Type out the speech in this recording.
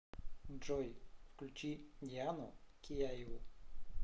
джой включи диану кияеву